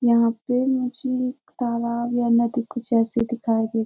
यहाँ पे मुझे तालाब बाना दिख जैसे दिखाई दे --